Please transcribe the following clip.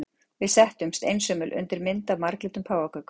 Við settumst, einsömul undir mynd af marglitum páfagaukum.